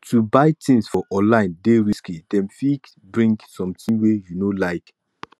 to buy tins for online dey risky dem fit bring sometin wey you no like